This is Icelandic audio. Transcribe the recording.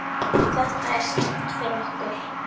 Þetta er slæmt fyrir okkur.